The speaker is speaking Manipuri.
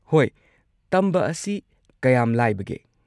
ꯍꯣꯏ, ꯇꯝꯕ ꯑꯁꯤ ꯀꯌꯥꯝ ꯂꯥꯏꯕꯒꯦ?